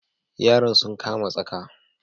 Yaran sun kama tsaka.